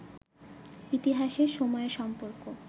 ইতিহাসের সময়ের সম্পর্ক